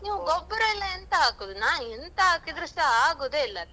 ನೀವು ಗೊಬ್ಬರ ಎಲ್ಲ ಎಂತ ಹಾಕುದು ನಾ ಎಂತ ಹಾಕಿದ್ರೂ ಸ ಆಗುದೇ ಇಲ್ಲ.